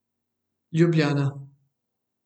Ljubljana.